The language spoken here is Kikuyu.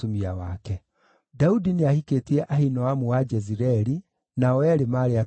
Daudi nĩahikĩtie Ahinoamu wa Jezireeli, nao eerĩ maarĩ atumia ake.